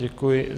Děkuji.